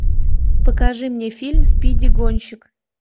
покажи мне фильм спиди гонщик